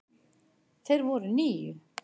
Þeir voru níu.